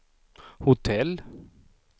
hotell